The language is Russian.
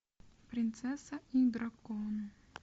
принцесса и дракон